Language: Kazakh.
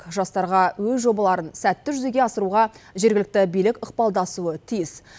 жастарға өз жобаларын сәтті жүзеге асыруға жергілікті билік ықпалдасуы тиіс